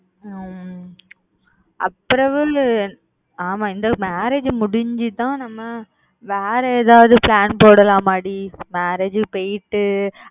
ஹம் அப்புறம் ஆமா இந்த முடிஞ்சி தான் நம்ம வேற ஏதாவது plan போடலாமா டி marriage போய்ட்டு